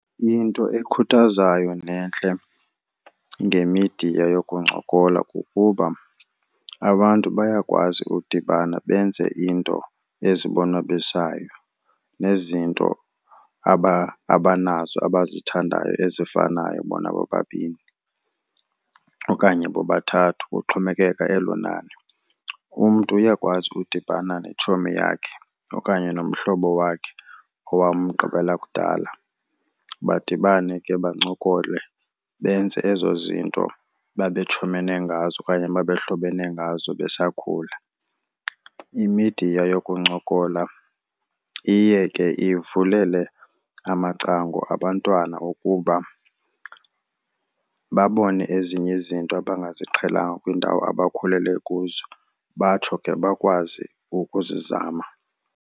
Into ekhuthazayo nentle ngemidiya yokuncokola kukuba abantu bayakwazi udibana benze into ezibonwabisayo nezinto abanazo abazithandayo ezifanayo bona bobabini okanye bobathathu kuxhomekeka elo nani. Umntu uyakwazi udibana netshomi yakhe okanye nomhlobo wakhe owamgqibela kudala, badibane ke bancokole benze ezo zinto babetshomene ngazo okanye babehlobene ngazo besakhula. Imidiya yokuncokola iye ke ivulele amacango abantwana ukuba babone ezinye izinto abangaziqhelanga kwiindawo abakhulele kuzo, batsho ke bakwazi ukuzizama.